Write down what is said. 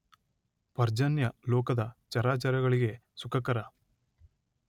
ಪರ್ಜನ್ಯ ಲೋಕದ ಚರಾಚರಗಳಿಗೆ ಸುಖಕರ.